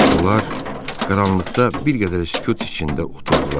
Onlar qaranlıqda bir qədər sükut içində oturdular.